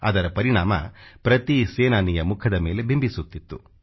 ಅದರ ಪರಿಣಾಮ ಪ್ರತಿ ಸೇನಾನಿಯ ಮುಖದ ಮೇಲೆ ಬಿಂಬಿಸುತ್ತಿತ್ತು